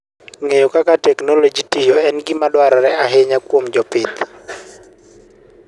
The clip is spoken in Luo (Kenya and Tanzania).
Ng'eyo kaka teknoloji tiyo en gima dwarore ahinya kuom jopith.